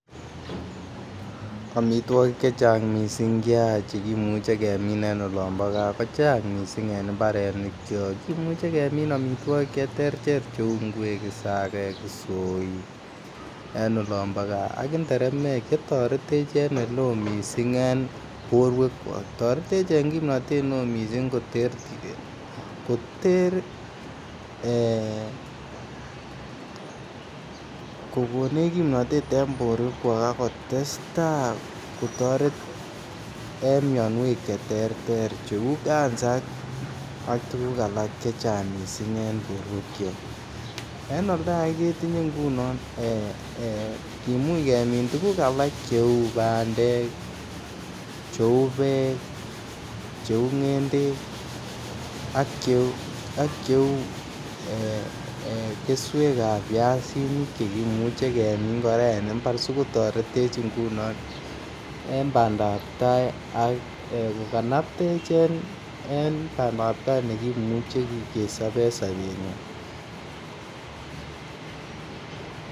Amitwogik chechang kot mising Che imuche kemin en oloon bo gaa ko Chang mising en mbarenikyok kimuche kemin amitwogik cheterter cheu ngwek isagek, isoik en olon bo gaa ak nderemek Che toretech en oleo mising en borwekyok toretech en kimnatet neo mising koter ak kokonech kimnatet en borwekyok ak kotestai kotoret en mianwek Che terter cheu Kansa ak tuguk alak chechang mising en borwekyok en oldo age ketinye ngunon kimuch kemin tuguk alak cheu bandek cheu Beek cheu ngendek ak cheu keswek ab biasinik Che kimuch kemin kora en mbar si kotoretech ngunon en bandabtai ak kokanaptech en kanaptaet nekimuche kesob en sopenyon